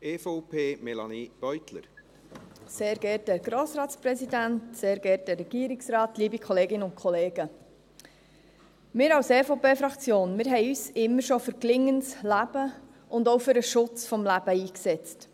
Wir von der EVP-Fraktion haben uns schon immer für gelingendes Leben und auch für den Schutz des Lebens eingesetzt.